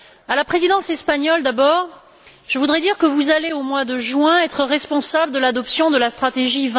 À la Présidence espagnole, d'abord, je voudrais dire que vous allez au mois de juin être responsable de l'adoption de la stratégie